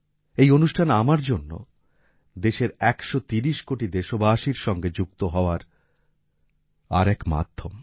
এই অনুষ্ঠান আমার জন্য দেশের একশো তিরিশ কোটি দেশবাসীর সঙ্গে যুক্ত হওয়ার আর এক মাধ্যম